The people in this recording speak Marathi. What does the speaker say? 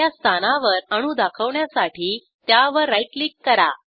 पहिल्या स्थानावर अणू दाखवण्यासाठी त्यावर राईट क्लिक करा